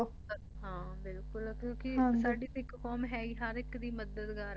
ਹਾਂ ਬਿਲਕੁਲ ਕਿਉਂਕਿ ਸਾਡੀ ਸਿੱਖ ਕੌਮ ਹੈ ਹੀ ਹਰ ਇੱਕ ਦੀ ਮਦਦਗਾਰ ਹੈ